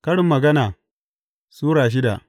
Karin Magana Sura shida